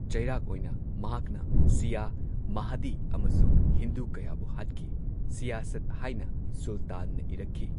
ꯆꯩꯔꯥꯛ ꯑꯣꯏꯅ, ꯃꯍꯥꯛꯅ ꯁꯤꯌꯥ, ꯃꯥꯍꯗꯤ ꯑꯃꯁꯨꯡ ꯍꯤꯟꯗꯨ ꯀꯌꯥꯕꯨ ꯍꯥꯠꯈꯤ ꯁꯤꯌꯥꯁꯠ ꯍꯥꯏꯅ ꯁꯨꯜꯇꯥꯟꯅ ꯏꯔꯛꯈꯤ꯫